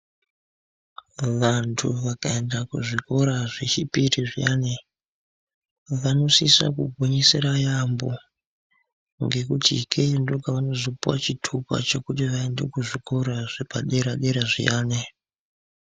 Vantu vakaenda kuzvikora zvechipiri zviyani vanosisa kugwinyisira yaambo. Ngekuti ikeyo ndokwavanozopuva chitupa chekuti vaende kuzvikora zvepadera-dera zviyani.